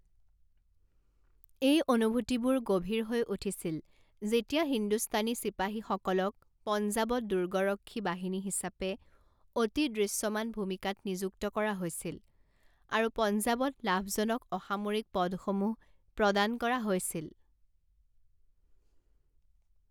এই অনুভূতিবোৰ গভীৰ হৈ উঠিছিল যেতিয়া হিন্দুস্তানী চিপাহীসকলক পঞ্জাৱত দুৰ্গৰক্ষী বাহিনী হিচাপে অতি দৃশ্যমান ভূমিকাত নিযুক্ত কৰা হৈছিল আৰু পঞ্জাৱত লাভজনক অসামৰিক পদসমূহ প্ৰদান কৰা হৈছিল।